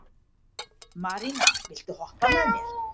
Marína, viltu hoppa með mér?